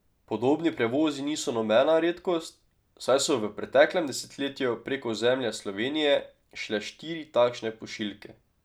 Podobni prevozi niso nobena redkost, saj so v preteklem desetletju prek ozemlja Slovenije šle štiri takšne pošiljke.